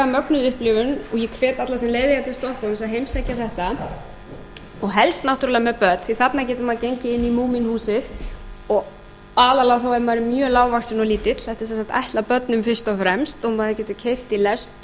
mögnuð upplifun og ég hvet alla sem leið eiga til stokkhólms að heimsækja þetta og helst náttúrlega með börn því þarna getur maður gengið inn í múmínhúsið og aðallega þá ef maður er mjög lágvaxinn og lítill þetta er sem sagt ætlað börnum fyrst og fremst maður getur keyrt í lest